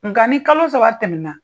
Nga ni kalo saba tɛmɛ na.